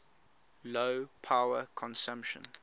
low power consumption